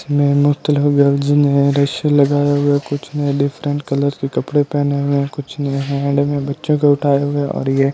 में मुक्तलिफ गर्ल्स ने रशे लगाया हुआ है कुछ ने डिफरेंट कलर के कपड़े पहने हुए हैं कुछ ने हैंड में बच्चों को उठाया हुआ है और ये --